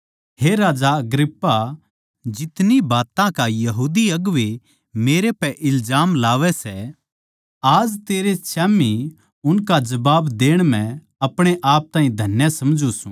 हे राजा अग्रिप्पा जितनी बात्तां की यहूदी अगुवें मेरै पै इल्जाम लावै सै आज तेरै स्याम्ही उनका जबाब देण म्ह अपणे ताहीं धन्य समझूँ सूं